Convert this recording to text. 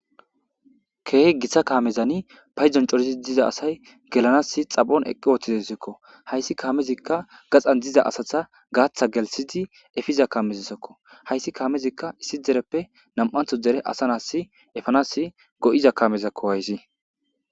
Kehi giita kaamezan payddon coori diiza asay gellanasi xaaphon eqqi uttideseko hayssi kaamezika gaxxan diiza asaza gaathan gelssidi effiza kamezasako hayssi kaamezi issi dereppe nam'antho deere asa nas effanas go'za kaamezako hayssi.